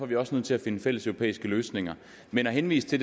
vi også nødt til at finde fælleseuropæiske løsninger men at henvise til